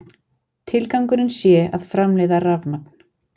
Tilgangurinn sé að framleiða rafmagn